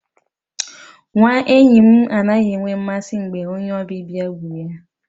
Nwa enyi m anaghị enwe mmasị mgbe onye ọbịbịa bu ya.